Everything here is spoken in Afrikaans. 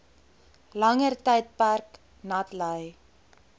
langer tydperk natlei